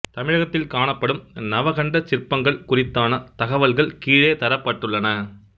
தமிழகத்தில் காணப்படும் நவகண்டச் சிற்பங்கள் குறித்தான தகவல்கள் கீழே தரப்பட்டுள்ளன